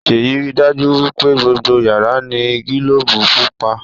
Seyi rí dájú wípé gbogbo yàrá ní gilobu pupa.